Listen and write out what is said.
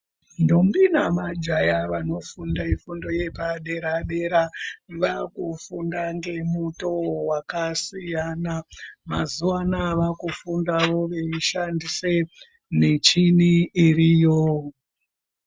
Ndombi namajaya vanofunda fundo yepadera dera, vakufunda ngemutoo wakasiyana mazuva anaya vakufundavo veishandise michini iriyo.